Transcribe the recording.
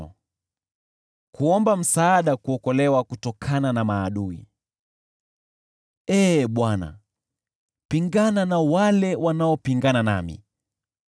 Ee Bwana , pingana na wale wanaopingana nami, upigane na hao wanaopigana nami.